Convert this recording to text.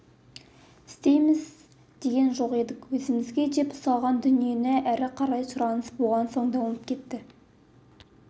істейміз деген жоқ едік өзімізге деп ұсталған дүние әрі қарай сұраныс болған соң дамып кетті